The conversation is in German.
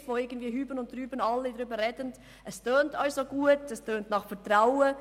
Es handelt sich dabei um einen Begriff, über welchen alle sprechen und der gut klingt, nämlich nach Vertrauen.